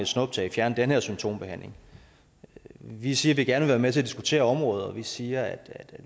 snuptag fjerne den her symptombehandling vi siger at vi gerne vil være med til at diskutere området og vi siger at